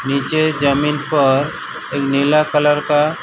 नीचे जमीन पर एक नीला कलर का --